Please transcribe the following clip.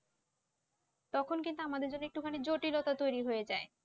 তখন কিন্তু আমাদের জন্য একটু জটিলতা তৈরি হয়ে যায়